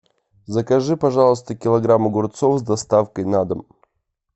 закажи пожалуйста килограмм огурцов с доставкой на дом